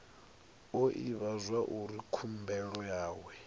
o ivhadzwa uri khumbelo yawe